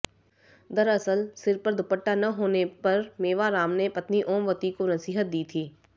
दरअसल सिर पर दुपट्टा न होने पर मेवाराम ने पत्नी ओमवती को नसीहत दी थी